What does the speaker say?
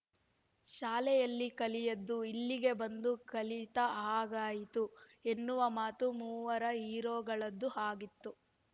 ಶಾಲೆಯಲ್ಲಿ ಕಲಿಯದ್ದು ಇಲ್ಲಿಗೆ ಬಂದು ಕಲಿತ ಹಾಗಾಯಿತು ಎನ್ನುವ ಮಾತು ಮೂವರ ಹೀರೋಗಳದ್ದು ಆಗಿತ್ತು